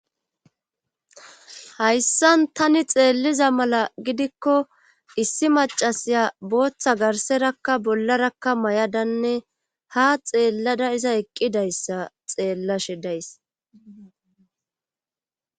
Hayssan tani xeelliza mala gidikko issi macasiya booththa garserakka bollarakka may7adanne ha xeellada iza eqqidayssa xeellashe days